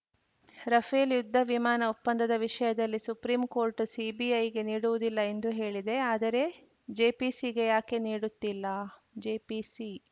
Rafale ಯುದ್ಧ ವಿಮಾನ ಒಪ್ಪಂದದ ವಿಷಯದಲ್ಲಿ ಸುಪ್ರೀಂಕೋರ್ಟ್‌ ಸಿಬಿಐಗೆ ನೀಡುವುದಿಲ್ಲ ಎಂದು ಹೇಳಿದೆ ಆದರೆ ಜೆಪಿಸಿಗೆ ಯಾಕೆ ನೀಡುತ್ತಿಲ್ಲ ಜೆಪಿಸಿ